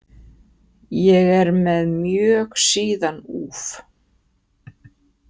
Ég er með mjög síðan úf.